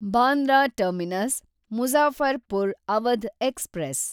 Bandra terminus Muzaffarpur Awadh express